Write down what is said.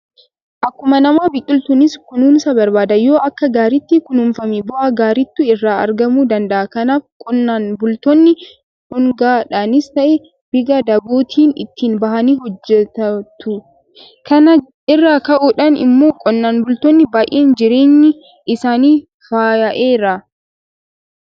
Akkuma namaa biqiltuunis kunuunsa barbaada. Yoo akka gaariitti kunuunfame bu'aa gaariiitu irraa argamuu danda'a. Kanaaf qonnaan bultoonni dhuungaadhaanis ta'ee biga dabootiin itti bahanii hojjetatu. kana irraa ka'uudhaan immoo qonnaan bultoonni baay'een jireenyi isaanii faayya'eera.